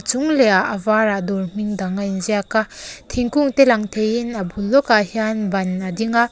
chung leh ah a var ah dawr hming dang a inziak a thingkung te lang theiin a bul lawkah hain ban a ding a.